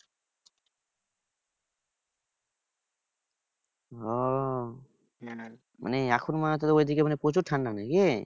ওহ মানে এখন মানে তোদের ঐদিকে প্রচুর ঠান্ডা নাকি?